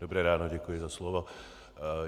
Dobré ráno, děkuji za slovo.